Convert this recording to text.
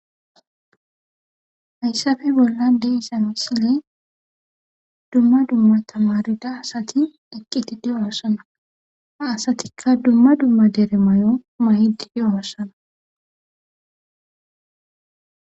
Hayssafe bolla de isano sile dumma dumma tamarida asati eqqiti di7o hossana a asatikka dumma dumma deere may7o mayidi di7o hossana.